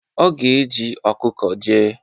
Ọ ga-eji ọkụkọ jee.